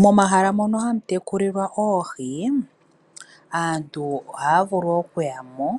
Momahala mono hamu tekulilwa oohi, aantu ohaya vulu okuya mo